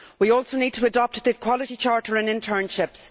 We also need to adopt a quality charter on internships.